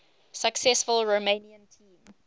successful romanian team